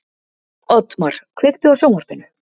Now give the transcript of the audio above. Oddmar, kveiktu á sjónvarpinu.